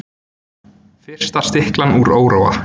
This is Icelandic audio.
Fyrsta stiklan úr Óróa